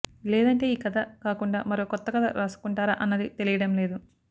లేదంటే ఈ కథ కాకుండా మరో కొత్తకథ రాసుకొంటారా అన్నది తెలియడం లేదు